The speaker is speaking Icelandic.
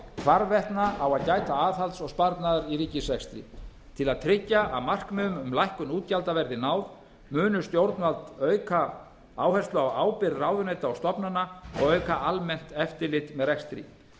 hvarvetna á að gæta aðhalds og sparnaðar í ríkisrekstri til að tryggja að markmiðum um lækkun útgjalda verði náð munu stjórnvöld auka áherslu á ábyrgð ráðuneyta og stofnana og auka almennt eftirlit með rekstri